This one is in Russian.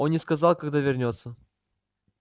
он не сказал когда вернётся